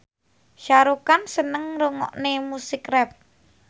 Shah Rukh Khan seneng ngrungokne musik rap